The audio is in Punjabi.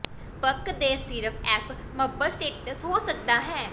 ਬਕ ਦੇ ਸਿਰਫ ਐੱਫ ਮਬਰ ਸਟੇਟਸ ਹੋ ਸਕਦਾ ਹੈ